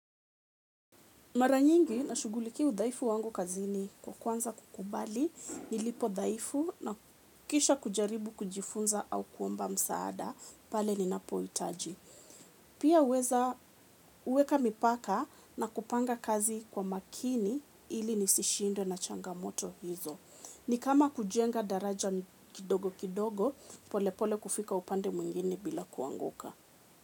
Mara nyingi nashughulikia udhaifu wangu kazini kwanza kukubali, nilipodhaifu na kisha kujaribu kujifunza au kuomba msaada, pale ninapohitaji. Pia huweza huweka mipaka na kupanga kazi kwa makini ili nisishindiwe na changamoto hizo. Ni kama kujenga daraja kidogo kidogo, pole pole kufika upande mwingine bila kuanguka.